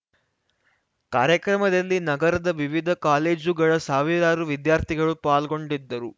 ಕಾರ್ಯಕ್ರಮದಲ್ಲಿ ನಗರದ ವಿವಿಧ ಕಾಲೇಜುಗಳ ಸಾವಿರಾರು ವಿದ್ಯಾರ್ಥಿಗಳು ಪಾಲ್ಗೊಂಡಿದ್ದರು